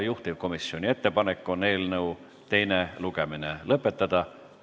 Juhtivkomisjoni ettepanek on eelnõu teine lugemine lõpetada.